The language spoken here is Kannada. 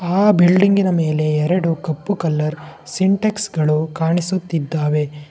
ಆ ಬಿಲ್ಡಿಂಗಿನ ಮೇಲೆ ಎರಡು ಕಪ್ಪು ಕಲರ್ ಸಿಂಟೆಕ್ಸ್ ಗಳು ಕಾಣಿಸುತ್ತಿದ್ದವೆ.